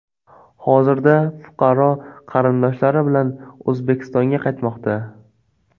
Hozirda fuqaro qarindoshlari bilan O‘zbekistonga qaytmoqda.